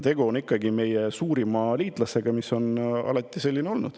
Tegu on ikkagi meie suurima liitlasega.